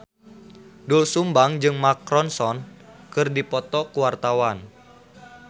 Doel Sumbang jeung Mark Ronson keur dipoto ku wartawan